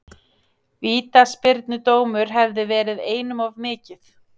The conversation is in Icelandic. Vítaspyrnudómur hefði verið einum of mikið.